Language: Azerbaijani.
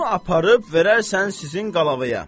Bunu aparıb verərsən sizin Qalavaya.